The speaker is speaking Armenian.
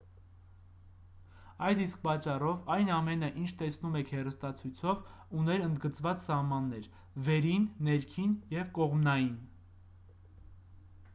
այդ իսկ պատճառով այն ամենը ինչ տեսնում եք հեռուստացույցով ուներ ընդգծված սահմաններ վերին ներքին և կողմնային